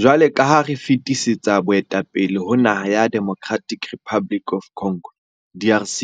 Jwalo ka ha re fetisetsa boetapele ho naha ya Democratic Republic of Congo DRC,